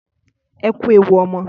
Ẹkú ewu ọmọ.